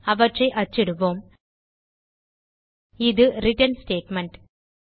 அவற்றை அச்சிடுவோம் இது ரிட்டர்ன் ஸ்டேட்மெண்ட்